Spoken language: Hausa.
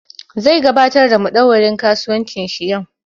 Zai gabatar da madauwarin kasuwancin shi yau